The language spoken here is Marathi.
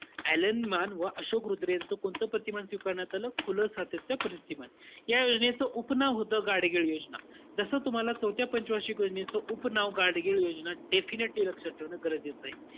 अ‍ॅलन मान व अशोक रुद्र यांचं, कोणतं प्रतिमान स्वीकारण्यात आलं? खुलं सातत्य प्रतिमान. या योजनेचं उपनाव होतं गाडगीळ योजना. जस तुम्हाला चौथ्या पंच वार्षिक योजनेच उपनाव गाडगीळ योजना definitely लक्षात ठेवणं गरजेचं आहे.